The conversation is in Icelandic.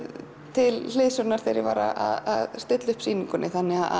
til hliðsjónar þegar ég var að stilla upp sýningunni